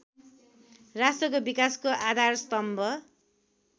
राष्ट्रको विकासको आधारस्तम्भ